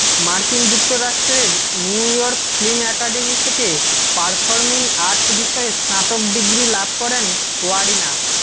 মার্কিন যুক্তরাষ্ট্রের New York film academy থেকে পারফরমিং আর্টস বিষয়ে স্নাতক ডিগ্রি লাভ করেন ওয়ারিনা